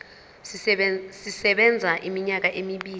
sisebenza iminyaka emibili